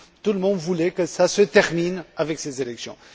Tout le monde voulait que cela se termine avec ces élections.